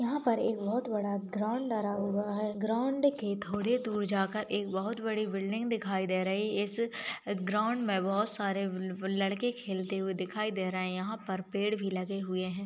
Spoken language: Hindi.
यहाँ पर एक बहुत बड़ा ग्राउन्ड बना हुआ है ग्राउन्ड के थोड़े दूर जाकर एक बहुत बड़ी बिल्डिंग दिखाई दे रही-- इस ग्राउन्ड मे बहुत सारे बब-- लड़के खेलते हुए दिखाई दे रहे हैं यहाँ पर पेड़ भी लगे हुए हैं।